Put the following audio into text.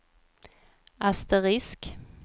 asterisk